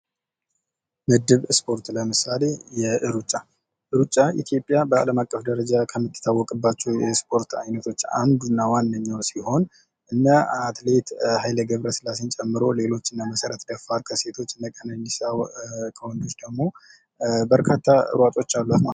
ምድብ ስፖርት ። ለምሳሌ ሩጫ ፡ ሩጫ ኢትዮጵያ በአለም አቀፍ ደረጃ ከምትታወቅባቸው የስፖርት አይነቶች አንዱ እና ዋነኛው ሲሆን እነ አትሌት ኃይሌ ገብረ ሥላሴን ጨምሮ ሌሎች እነ መሰረት ደፋር ከሴት እነ ቀነኒሳ ከወንዶች ደግሞ በርካታ ሯጮች አሏት ።